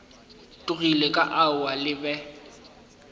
tlogile ka aowa le be